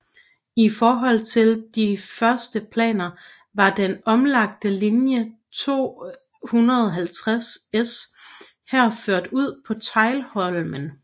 I forhold til de første planer var den omlagte linje 250S her ført ud på Teglholmen